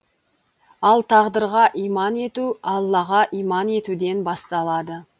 ал тағдырға иман ету аллаға иман етуден басталады